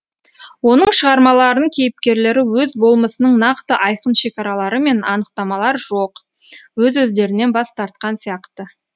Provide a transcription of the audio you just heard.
оның шығармаларының кейіпкерлері өз болмысының нақты айқын шекаралары мен анықтамалар жоқ өз өздерінен бас тартқан сияқты